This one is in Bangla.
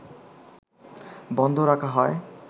বন্ধ রাখা হয়